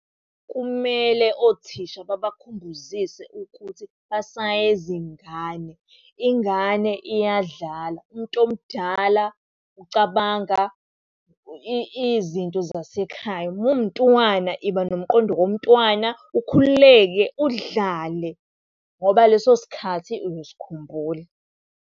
Kumele othisha babakhumbuzise ukuthi basayezingane. Ingane iyadlala, umuntu omdala ucabanga izinto zasekhaya. Uma uwumntwana, yiba nomqondo womntwana ukhululeke udlale, ngoba leso sikhathi uzosikhumbula.